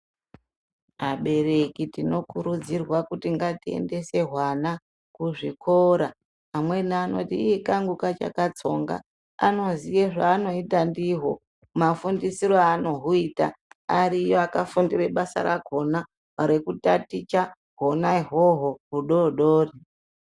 Abereki tinokurudzirwa kuti ngatiendese hwana kuzvikora. Amweni anoiti ii kangu kachakatsonga anoziye zvanoita ndiho mafundisiro anohuita. Ariyo akafundire basa rakona rekutaticha hona ihoho hudodori.